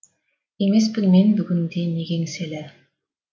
емеспін мен бүгінде неге еңселі